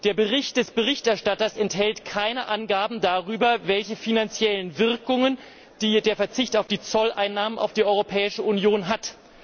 Der Bericht des Berichterstatters enthält keine Angaben darüber, welche finanziellen Auswirkungen der Verzicht auf die Zolleinnahmen für die Europäische Union hat.